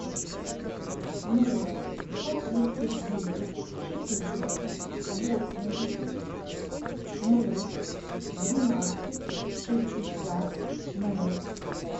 ноль сто тридцать девять четыреста восемьдесят ноль двенадцать шестьдесят ноль